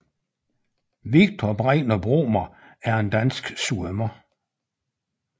Viktor Bregner Bromer er en dansk svømmer